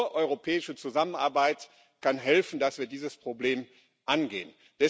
Und nur europäische Zusammenarbeit kann helfen, dass wir dieses Problem angehen.